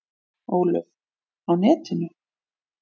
Ólöf: Á netinu?